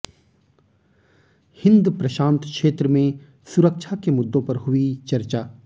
हिंद प्रशांत क्षेत्र में सुरक्षा के मुद्दों पर हुई चर्चा